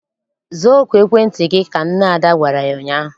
Zaa oku ekwentị gị! Ka nne Ada gwara ya ụnyaahụ.